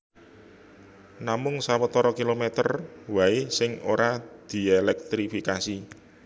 Namung sawetara kilomèter waé sing ora dièlèktrifikasi